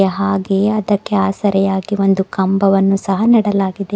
ಹಾಗೆ ಅದಕ್ಕೆ ಆಸರೆಯಾಗಿ ಒಂದು ಕಂಬವನ್ನು ನೀಡಲಾಗಿದೆ.